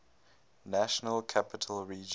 national capital region